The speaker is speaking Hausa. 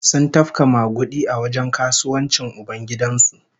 Sun tafka magudi a wajen kasuwancin ubangidan su